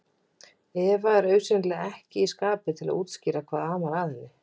Eva er augsýnilega ekki í skapi til að útskýra hvað amar að henni.